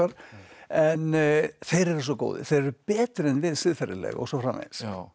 en þeir eru svo góðir þeir eru betri en við siðferðilega og svo framvegis